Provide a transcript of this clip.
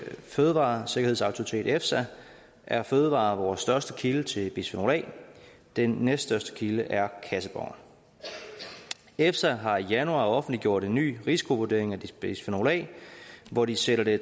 fødevaresikkerhedsautoritet efsa er fødevarer vores største kilde til bisfenol a den næststørste kilde er kasseboner efsa har i januar offentliggjort en ny risikovurdering af bisfenol a hvor de sætter det